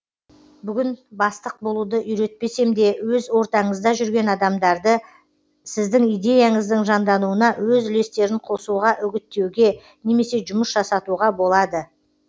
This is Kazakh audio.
бүгін бастық болуды үйретпесем де өз ортаңызда жүрген адамдарды сіздің идеяңыздың жандануына өз үлестерін қосуға үгіттеуге немесе жұмыс жасатуға болады